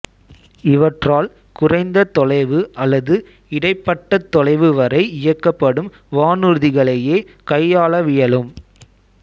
இவற்றால் குறைந்த தொலைவு அல்லது இடைப்பட்டத் தொலைவு வரை இயக்கப்படும் வானூர்திகளையே கையாளவியலும்